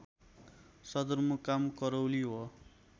सदरमुकाम करौली हो